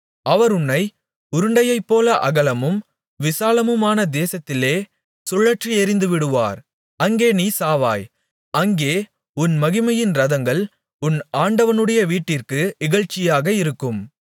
அவர் உன்னை உருண்டையைப்போல அகலமும் விசாலமுமான தேசத்திலே சுழற்றி எறிந்துவிடுவார் அங்கே நீ சாவாய் அங்கே உன் மகிமையின் இரதங்கள் உன் ஆண்டவனுடைய வீட்டிற்கு இகழ்ச்சியாக இருக்கும்